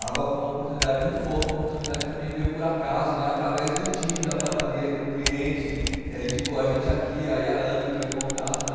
foi uma oportunidade muito boa, foi uma oportunidade que também veio por acaso né, através do time da padaria, que é um cliente, eh indicou a gente aqui, aí a Ana entrou em contato né.